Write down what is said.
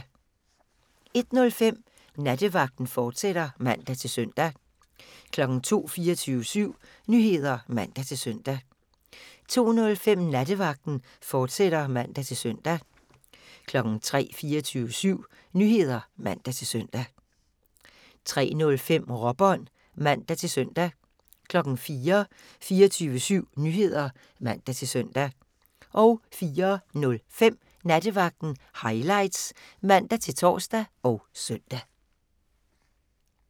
01:05: Nattevagten, fortsat (man-søn) 02:00: 24syv Nyheder (man-søn) 02:05: Nattevagten, fortsat (man-søn) 03:00: 24syv Nyheder (man-søn) 03:05: Råbånd (man-søn) 04:00: 24syv Nyheder (man-søn) 04:05: Nattevagten Highlights (man-tor og søn)